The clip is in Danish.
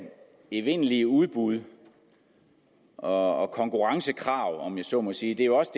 evindelige udbuds og konkurrencekrav om jeg så må sige jo også